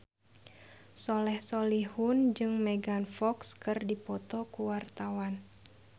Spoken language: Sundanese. Soleh Solihun jeung Megan Fox keur dipoto ku wartawan